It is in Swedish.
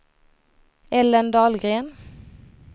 Ellen Dahlgren